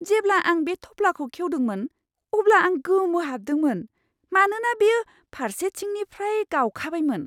जेब्ला आं बे थफ्लाखौ खेवदोंमोन अब्ला आं गोमोहाबदोंमोन, मानोना बेयो फारसेथिंनिफ्राय गावखाबायमोन!